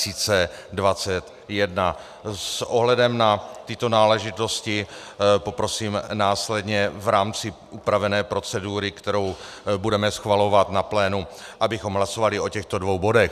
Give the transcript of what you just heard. S ohledem na tyto náležitosti poprosím následně v rámci upravené procedury, kterou budeme schvalovat na plénu, abychom hlasovali o těchto dvou bodech.